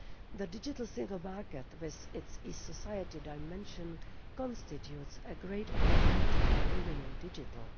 The Digital Single Market with its e society dimension constitutes a great opportunity for women in digital.